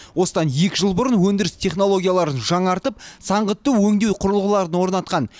осыдан екі жыл бұрын өндіріс технологияларын жаңартып саңғытты өңдеу құрылғыларын орнатқан